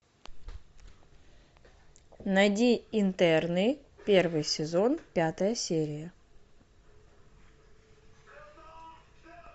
найди интерны первый сезон пятая серия